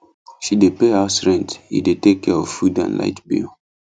she dey pay house rent he dey take care of food and light bill